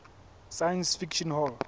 science fiction hall